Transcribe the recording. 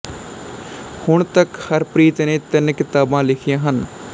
ਹੁਣ ਤਕ ਹਰਪ੍ਰੀਤ ਨੇ ਤਿੰਨ ਕਿਤਾਬਾਂ ਲਿਖੀਆਂ ਹਨ